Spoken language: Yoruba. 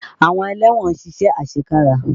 Àwọn ẹlẹ́wọ̀n ń ṣiṣẹ́ àṣekára.